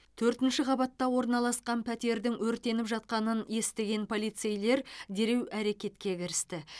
төртінші қабатта орналасқан пәтердің өртеніп жатқанын естіген полицейлер дереу әрекетке кірісті